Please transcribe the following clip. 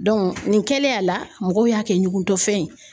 nin kɛlen a la, mɔgɔw y'a kɛ ɲugutɔfɛn ye